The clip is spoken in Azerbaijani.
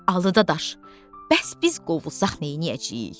Alı dadaş, bəs biz qovulsaq neyniyəcəyik, hə?